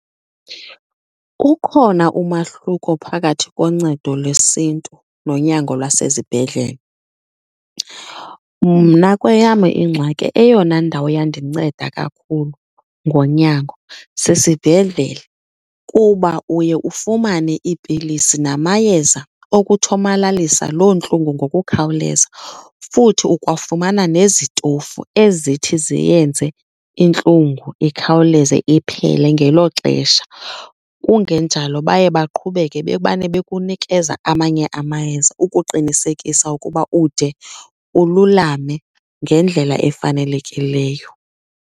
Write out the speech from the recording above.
Ukhona umahluko phakathi koncedo lwesiNtu nonyango lwasezibhedlele. Mna kweyam ingxaki eyona ndawo yandinceda kakhulu ngonyango sisibhedlele kuba uye ufumane iipilisi namayeza okuthomalalisa loo ntlungu ngokukhawuleza futhi ukwafumana nezitofu ezithi ziyenze intlungu ikhawuleze iphele ngelo xesha. Kungenjalo baye baqhubeke bebane bekunikeza amanye amayeza ukuqinisekisa ukuba ude ululame ngendlela efanelekileyo.